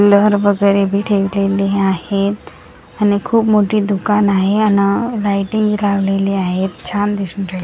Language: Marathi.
लहर वगेरे बी ठेवलेली आहेत आणि खूप मोठी दुकान आहे अन लाइटीनग लावलेली आहेत छान दिसून राहील.